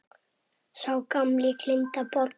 Sá gamli gleymdi að borga.